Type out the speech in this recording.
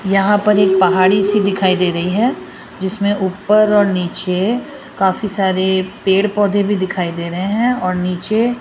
यहां पर एक पहाड़ी सी दिखाई दे रही है जिसमें ऊपर और नीचे काफी सारे पेड़ पौधे भी दिखाई दे रहे है और नीचे --